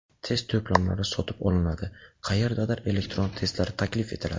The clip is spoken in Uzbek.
Test to‘plamlari sotib olinadi, qayerdadir elektron testlar taklif etiladi.